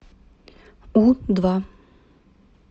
у два